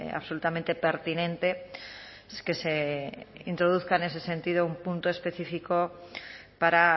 absolutamente pertinente que se introduzca en ese sentido un punto específico para